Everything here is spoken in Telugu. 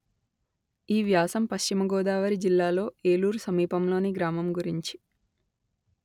ఈ వ్యాసం పశ్చిమ గోదావరి జిల్లాలో ఏలూరు సమీపంలోని గ్రామం గురించి